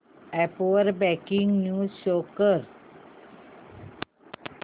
app वर breaking news show कर